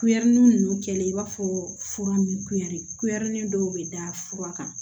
Kuɛri ninnu kɛlen i b'a fɔ fura min kuyare kulɛri dɔw bɛ da fura kan